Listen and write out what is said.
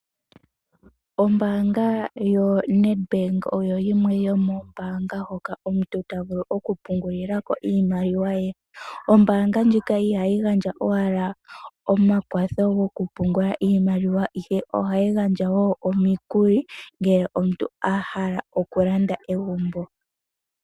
Ombanga yoNedbank oyo yimwe yomo ombanga hoka omuntu ta vulu oku pungulila ko iimaliwa ye. Ombanga ndjika ihayi gandja owala omakwatho goku pungula iimaliwa ihe ohayi gandja wo omikuli ngele omuntu a hala oku landa egumbo.